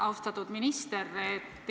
Austatud minister!